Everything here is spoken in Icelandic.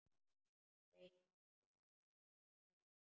Reikna- læra á tölvur